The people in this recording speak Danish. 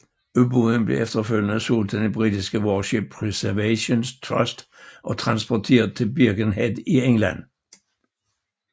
Ubåden blev efterfølgende solgt til den britiske Warship Preservation Trust og transporteret til Birkenhead i England